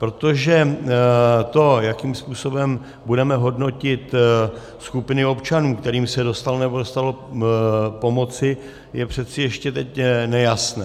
Protože to, jakým způsobem budeme hodnotit skupiny občanů, kterým se dostalo, nebo nedostalo pomoci, je přece ještě teď nejasné.